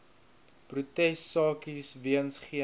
protesaksies weens geen